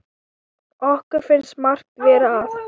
Okkur finnst margt vera að.